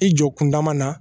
I jɔ kundama na